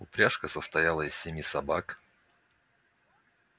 упряжка состояла из семи собак